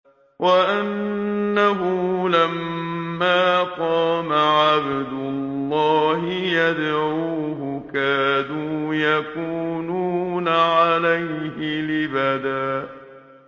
وَأَنَّهُ لَمَّا قَامَ عَبْدُ اللَّهِ يَدْعُوهُ كَادُوا يَكُونُونَ عَلَيْهِ لِبَدًا